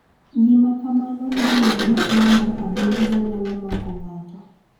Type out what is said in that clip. Gima kamano iluongo ni tuo mar adundo ma nyalo mako ng�ato.